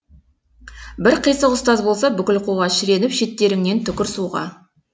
бір қисық ұстаз болса бүкіл қуға шіреніп шеттеріңнен түкір суға